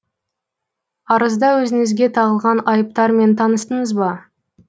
арызда өзіңізге тағылған айыптармен таныстыңыз ба